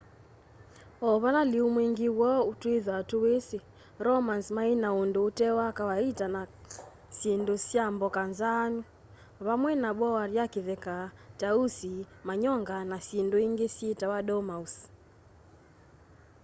o vala lîu mwîngî woo twîthwa tûwîsî romans maî na undu ute wa kawaita kana syindu sya mboka nzaanu vamwe na boar ya kitheka tausi manyonga na syindu ingi syitawa dormouse